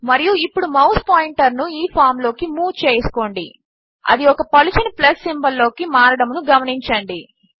మరియు ఇప్పుడు mouse pointer ను ఈ ఫామ్ లోకి మూవ్ చేసుకోండి అది ఒక పలుచని ప్లస్ సింబల్ లోకి మారడమును గమనించండి